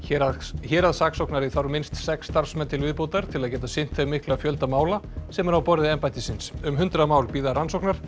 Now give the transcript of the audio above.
héraðssaksóknari þarf minnst sex starfsmenn til viðbótar til að geta sinnt þeim mikla fjölda mála sem er á borði embættisins um hundrað mál bíða rannsóknar